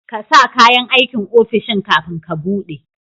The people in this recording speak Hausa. ƙasa kayan aikin ofishin kafin ka buɗe